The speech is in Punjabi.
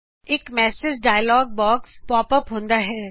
ਇਕ message dialog box pop up ਹੁੰਦਾ ਹੈ